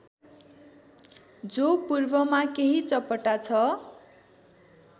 जो पूर्वमा केही चपटा छ